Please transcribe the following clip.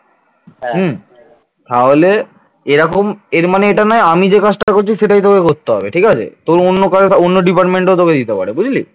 এরকম এর মানে এটা নয় আমি যে কাজটা করছি সেটাই তোকে করতে হবে। ঠিক আছে? তোর তোর অন্য কারো অন্য department দিতে পারে তোকে বুঝলি